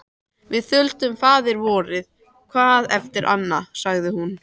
Við þuldum Faðirvorið hvað eftir annað, sagði hún.